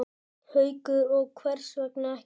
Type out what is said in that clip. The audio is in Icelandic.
Haukur: Og hvers vegna ekki?